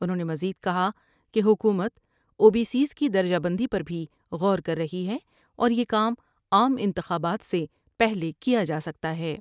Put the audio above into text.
انہوں نے مزید کہا کہ حکومت اُو بی سی ایس کی درجہ بندی پر بھی غور کر رہی ہے اور یہ کام عام انتخابات سے پہلے کیا جا سکتا ہے ۔